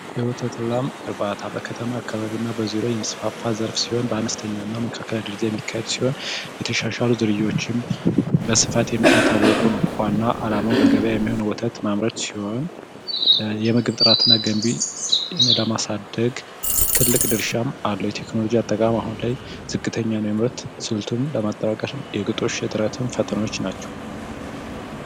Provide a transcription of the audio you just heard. የወተት ላም እርባታ መካከለኛና ዝቅተኛ ደረጃ የሚካሄድ ሲሆን የተሻሻሉ ዝርያዎችን በስፋት እየታወቁ ነው ዋና አላማው በገበያ የሚሆን ወተት ማምረት ሲሆን የምግብ ጥራትን እና ገንቢ ለማሳደግ ትልቅ ድርሻ አለው የቴክኖሎጂ አጠቃቀም አሁን ላይ ዝቅተኛ ሲሆን እሱን ለማጠናከር እና የግጦሽ እጥረትም ትልቅ ፈተናዎች ናቸው።